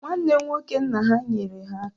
Nwanne nwoke nna ha nyere ha aka